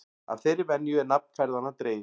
Af þeirri venju er nafn ferðanna dregið.